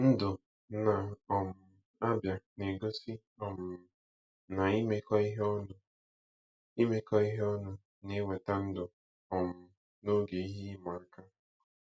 Ndụ na um Abia na-egosi um na imekọ ihe ọnụ imekọ ihe ọnụ na-eweata ndụ um n'oge ihe ịma aka.